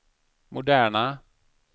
moderna